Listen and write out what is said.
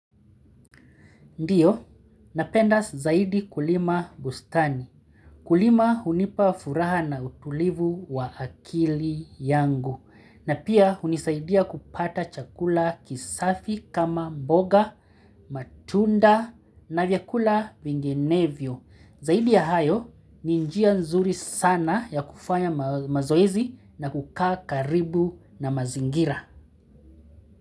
Ndiyo, napenda zaidi kulima bustani. Kulima hunipa furaha na utulivu wa akili yangu. Na pia hunisaidia kupata chakula kisafi kama mboga, matunda na vyakula vinginevyo. Zaidi ya hayo, ni njia nzuri sana ya kufanya mazoezi na kukaa karibu na mazingira.